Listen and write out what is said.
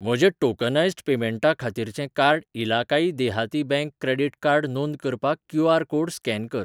म्हजें टोकनायज्ड पेमेंटा खातीरचें कार्ड इलाकाई देहाती बँक क्रेडिट कार्ड नोंद करपाक क्यू.आर. कोड स्कॅन कर.